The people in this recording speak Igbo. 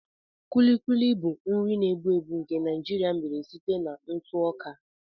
Kulikuli bụ nri na-egbu egbu nke Naijiria mere site na ntụ ọka.